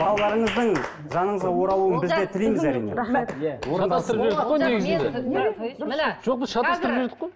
балаларыңыздың жаныңызға оралуын бізде тілейміз әрине рахмет